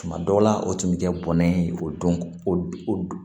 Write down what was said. Tuma dɔw la o tun bɛ kɛ bɔrɛ ye o don o don